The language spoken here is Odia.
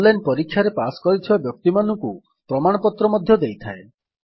ଅନଲାଇନ୍ ପରୀକ୍ଷା ପାସ୍ କରିଥିବା ବ୍ୟକ୍ତିମାନଙ୍କୁ ପ୍ରମାଣପତ୍ର ମଧ୍ୟ ଦେଇଥାଏ